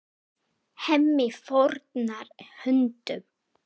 Hemmi fórnar höndum.